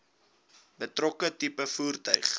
betrokke tipe voertuig